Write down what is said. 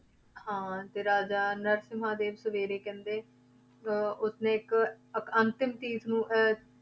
ਹਾਂ ਤੇ ਰਾਜਾ ਨਰਸਿੰਮਾ ਦੇ ਸਵੇਰੇ ਕਹਿੰਦੇ ਅਹ ਉਸਨੇ ਇੱਕ, ਇੱਕ ਅੰਤਿਮ ਨੂੰ ਅਹ